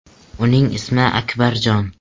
Uning ismi Akbarjon.